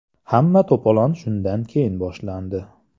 Hamma to‘polon shundan keyin boshlandi.